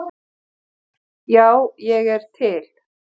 Já, ég er til.